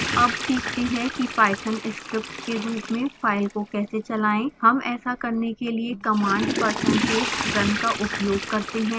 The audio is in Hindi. अब सीखते हैं कि python script के रूप में फाइल को कैसे चलाएं